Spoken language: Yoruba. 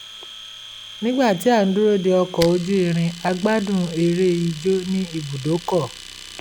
nígbà tí a ń dúró de ọkọ̀ ojú irin a gbádùn eré ijó ní ibùdókọ̀